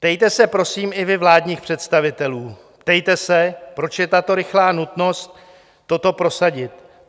Ptejte se, prosím, i vy vládních představitelů, ptejte se, proč je tato rychlá nutnost toto prosadit.